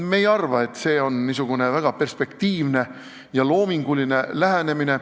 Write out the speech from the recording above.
Me ei arva, et see on väga perspektiivne ja loominguline lähenemine.